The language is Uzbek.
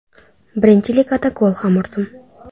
Birinchi ligada gol ham urdim.